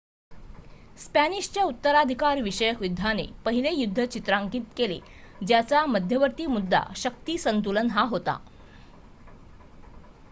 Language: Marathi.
स्पॅनिशच्या उत्तराधिकार विषयक युद्धाने पहिले युद्ध चिन्हांकित केले ज्याचा मध्यवर्ती मुद्दा शक्ती संतुलन हा होता